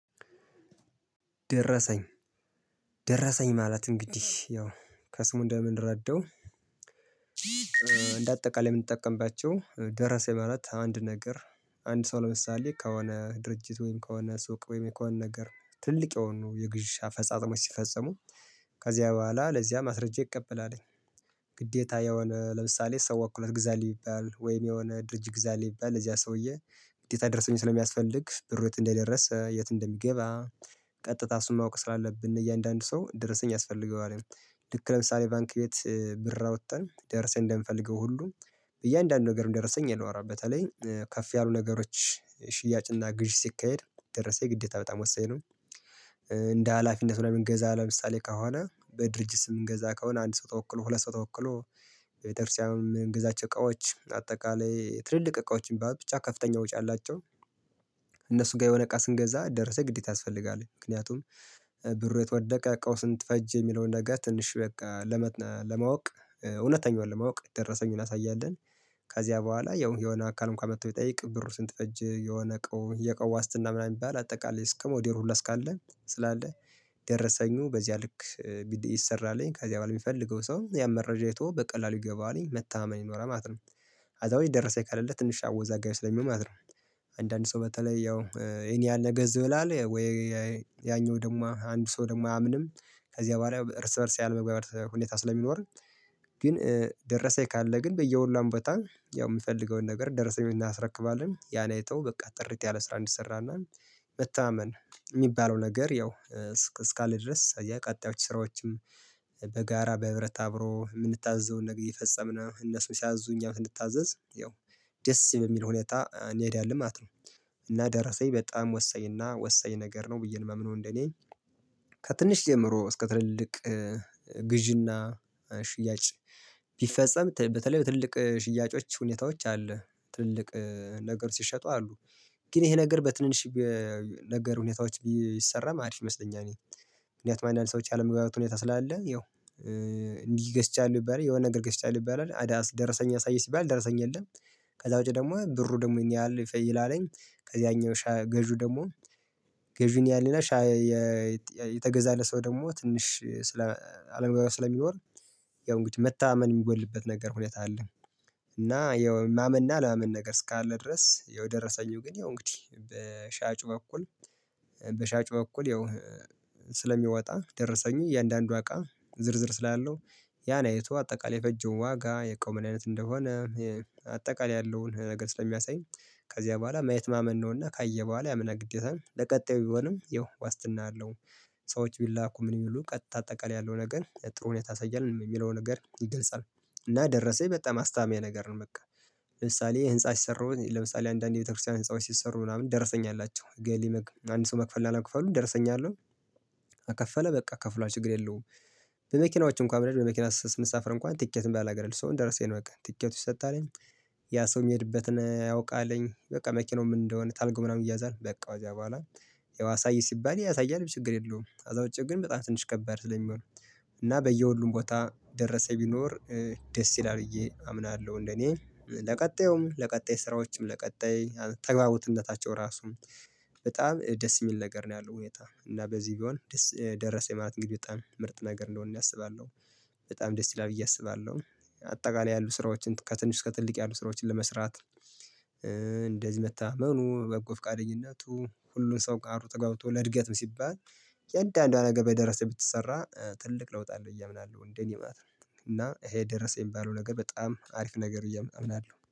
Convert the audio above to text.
ደረሰኝ ደረሰኝ ማለት እንግዲህ ያው ከስሙ እንደምንረዳው። እንደ አጠቃላይ የምንጠቀምባቸው ደረሰኝ ማለት አንድ ነገር አንድ ሰው ለምሳሌ ከሆነ ድርጅት ወይም ከሆነ ሱቅ ወይም ከሆነ ነገር ትልቅ የሆኑ የግዢ አፈጻጥሞች ሲፈፅሙ ከዚያ በኋላ ለዚያ ማስረጃ ይቀበላል። ግዴታ የሆነ ለምሳሌ ሰው ወክለህ ግዛልኝ ቢባል ወይም የሆነ ድርጅት ግዛል ቢባል ለዚያ ሰውዬ ግዴታ ደርሰኝ ስለሚያስፈልግ ብሩ የት እንደደረሰ የት እንደሚገባ ቀጥታ እሱን ማወቅ ስላለብን እያንዳንዱ ሰው ደርሰኝ ያስፈልገዋል። ልክ ለምሳሌ ባንክ ቤት ብር አውጥተን ደርሰኝ እንደምፈልገው ሁሉ እያንዳንዱ ነገርም ደረሰኝ ይኖረዋል በተለይ ከፍ ያሉ ነገሮች ሽያጭና ግዢ ሲካሄድ ደረሰኝ ግዴታ በጣም ወሳኝ ነው። እንደ ሀላፊነቱ ለምንገዛ ለምሳሌ ከሆነ በድርጅት ስም የምንገዛ ከሆነ አንድ ሰው ተወክሎ ሁለት ሰው ተወክሎ በቤተርስያም እምንገዛቸው እቃዎች አጠቃላይ ትልልቅ እቃዎችን ብቻ ከፍተኛ ወጪ አላቸው። እነሱ ጋር የሆነ እቃ ስንገዛ ደርሰኝ ግዴታ ያስፈልጋል ምክንያቱም ብሩ የት ወደቀ አቃው ስንት ፈጀ የሚለውን ነገር ትንሽ በቃ ለመ ለማወቅ እውነተኛዋን ለማወቅ ደረሰኝ እናሳያለን። ከዚያ በኋላ ያው የሆነ አካል አንኩአን መቶ ቢጠይቅ ብሩ ስንት እጅ የሆነ አቃው የ አቃው ዋስትና ምናምን የሚባል አጠቃላይ እስከ ሞዴሉ ሁላ እስካለ ስላለ ደረሰኙ በዚያ ልክ ቢሰራልኝ ከዚያ በኋላ የሚፈልገው ሰው ያን መረጃ እይቶ በቀላሉ ይገባዋል መታመን ይኖራል ማለት ነው። አዛው ደረሰኝ ከሌለ ትንሽ አወዛጋቢ ስለሚሆን ማለት ነው። አንዳንድ ሰው በተለይ ያው የኔ ያለ ገዝ ብላ አለ ወይ? ያኛው ደግሞ አንዱ ሰው ደግሞ አያምንም ከዚህ በኋላ እርስ በእርስ ያለመግባባት ሁኔታ ስለሚኖር። ግን ደረሰኝ ካለ ግን በየሁሏም ቦታ ያው የምፈልገውን ነገር ደረሰኝ እናስረክባለን ያን አይተው በቃ ጥሪት ያለ ስራ እንዲሰራና። መተማመን የሚባለው ነገር ያው እስካለ ድረስ አያ ቀጥ ያሉ ስራዎችም በጋራ በህብረት አብሮ የምንታዘዘውን ነገር የአየፈፀምን እነሱን ሲያዙን እኛ ብንታዘዝ ያው ደስ በሚል ሁኔታ እንሄዳለን ማለት ነው። እና ደረሰኝ በጣም ወሳኝ እና ወሳኝ ነገር ነው ብዬ ነው የማምነው እንደኔ። ከትንሽ ጀምሮ እስከ ትልልቅ ግዢና ሽያጭ ቢፈጸም በተለይ በትልልቅ ሽያጮች ሁኔታዎች አሉ። ትልቅ ነገር ሲሸጡ አሉ ግን ይሄ ነገር በትንንሽ ነገር ሁኔታዎች ቢሰራም አሪፍ ይመስለኛል። ምክንያቱም አንዳንድ ሰዎች ያለመግባባት ሁኔታ ስላለ ያው እንዲህ ገዝቻለሁ ይባላል የሆነ ነገር ገዝቻለሁ ይባላል አዳስ ደረሰኝ አሳይ ሲባል ደረሰኝ የለም። ከዛ ውጪ ደግሞ ብሩ ደግሞ ይሄን ያህል ይፈይድ አለኝ ከዚያኛው ሻጭ ገዢው ደግሞ ገዢውን ያህልና ሻይ የተገዛለት ሰው ደግሞ ትንሽ ስለ አለመግባባት ስለሚኖር ያው እንግዲህ መተማመን የሚጎድልበት ነገር ሁኔታ አለ። እና ያው የማመንና ያለማመን ነገር እስካለ ድረስ ያው ደረሰኝም ግን ያው እንግዲህ በሻጩ በኩል በሻጩ በኩል ያው ስለሚወጣ ደረሰኙ እያንዳንዷ አቃ ዝርዝር ስላለው ያን አይቶ አጠቃላይ የፈጀው ዋጋ የ እቃው ምን አይነት እንደሆነ አጠቃላይ ያለውን ነገር ስለሚያሳይ። ከዚያ በኋላ ማየት ማመን ነውና ካየ በኋላ ያምናል ግዴታ ለቀጣዩ ቢሆንም ይኸው ዋስትና አለው። ሰዎች ቢላኩ ምን ይሉ ቀጥታ አጠቃላይ ያለው ነገር ጥሩ ሁኔታ ያሳያል የሚለው ነገር ይገልጻል። እና ደረሰኝ በጣም አስተማማኝ ነገር ነው በቃ። ለምሳሌ ህንፃ ሲሰሩ ለምሳሌ አንዳንድ የቤተክርስቲያን ህንፃዎች ሲሰሩ ምናምን ደርሰኝ አላቸው። አንድ ሰው መክፈል ላለመክፈሉ ደርሰኝ አለው። ከከፈለ በቃ ከፍሏል ችግር የለውም። በመኪናዎቹ እንኳን በመኪና ስንሳፈር እንኳን ትኬት የሚባል ነገር አለ እሱ አሁን ደርሰኝ ነው በቃ ትኬት ይሰጣልኝ። ያ ሰው የሚሄድበትን ያውቃልኝ በቃ መኪናው ምን እንደሆነ ታርጋው ምናምን ይያዛል በቃ ከዚያ በኋላ። ያው አሳይ ሲባል ያሳያል ችግር የለውም ከዛ ውጭ ግን በጣም ትንሽ ከባድ ስለሚሆን። እና በየሁሉም ቦታ ደረሰኝ ቢኖር ደስ ይላል ብዬ አምናለሁ። እንደኔ ለቀጣዩም ለቀጣይ ስራዎችም ለቀጣይ ተግባቦትነታቸው ራሱም በጣም ደስ የሚል ነገር ነው ያለው ሁኔታ እና በዚህ ቢሆን ደስ ደረሰኝ ማለት እንግዲህ በጣም ምርጥ ነገር እንደሆነ እኔ አስባለሁ። በጣም ደስ ይላል ብዬ አስባለሁ። አጠቃላይ ያሉ ስራዎችን ከትንሽ እስከ ትልቅ ያሉ ስራዎችን ለመስራት። እንደዚህ መተማመኑ በጎ ፍቃደኝነቱ ሁሉም ሰው ጋር ተግባብቶ ለእድገትም ሲባል። እያንዳንዷ ነገር በደረሰኝ ብትሰራ ትልቅ ለውጥ አለው ብዬ አምናለሁ እንደ እኔ ማለት ነው። እና ይሄ ደረሰኝ የሚባለው ነገር በጣም አሪፍ ነገር ነው ብዬ አምናለሁ